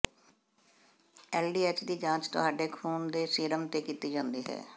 LDH ਦੀ ਜਾਂਚ ਤੁਹਾਡੇ ਖੂਨ ਦੇ ਸੀਰਮ ਤੇ ਕੀਤੀ ਜਾਂਦੀ ਹੈ